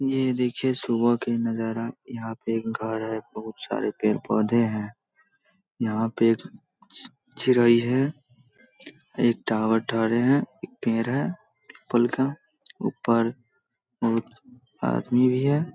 ऐ देखिये सुबह का नजारा यहाँ पे घर है। बहोत सारे पेड़ पोधे हैं । यहाँ पे एक चिड़ई एक टावर है पेड़ हैं फल का ऊपर बहोत आदमी भी है।